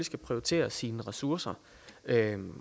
skal prioritere sine ressourcer